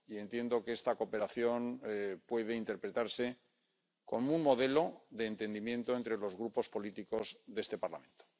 Entiendo que esta cooperación puede interpretarse como un modelo de entendimiento entre los grupos políticos de este Parlamento.